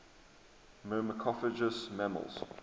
myrmecophagous mammals